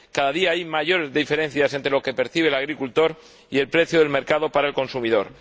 cada día hay mayor diferencia entre lo que percibe el agricultor y el precio del mercado para el consumidor